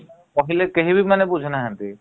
କହିଲେ କେହିବି ମାନେ ବୁଝୁନାହାନ୍ତି ।